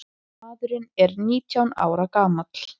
Maðurinn er nítján ára gamall.